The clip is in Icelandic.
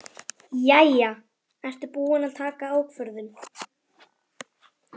Jæja, ertu búinn að taka ákvörðun?